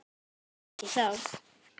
Ekki þá.